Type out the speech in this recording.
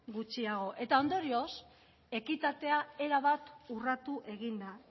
gutxiago eta ondorioz ekitatea erabat urratu egin da